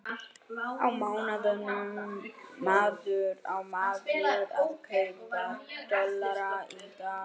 Á maður að kaupa dollara í dag?